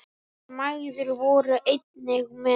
Þær mæðgur voru einnig með.